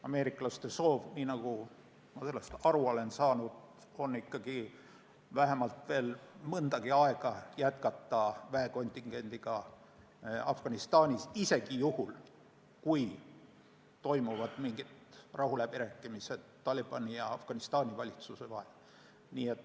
Ameeriklaste soov on, nagu ma olen aru saanud, vähemalt mõnda aega jätkata väekontingendiga Afganistanis – isegi juhul, kui toimuvad mingid rahuläbirääkimised Talibani ja Afganistani valitsuse vahel.